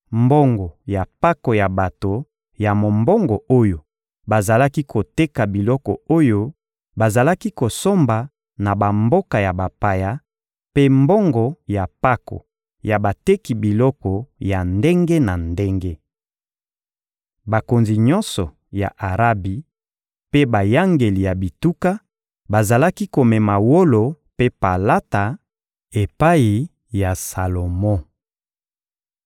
mbongo ya mpako ya bato ya mombongo oyo bazalaki koteka biloko oyo bazalaki kosomba na bamboka ya bapaya, mpe mbongo ya mpako ya bateki biloko ya ndenge na ndenge. Bakonzi nyonso ya Arabi mpe bayangeli ya bituka bazalaki komema wolo mpe palata epai ya Salomo.